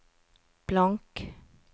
blank